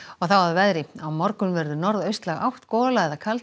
að veðri á morgun verður átt gola eða kaldi en